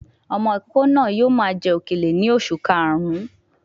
Ọmọ ìkókó náà yóò máa jẹ òkèlè ní oṣù karùn-ún